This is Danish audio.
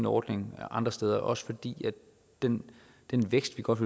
ordning andre steder også fordi den den vækst vi godt